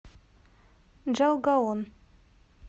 джалгаон